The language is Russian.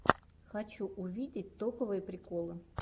хочу увидеть топовые приколы